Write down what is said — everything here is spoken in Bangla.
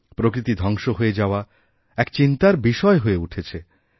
প্রকৃতি ধ্বংস হয়ে যাওয়া এক চিন্তার বিষয় হয়েউঠেছে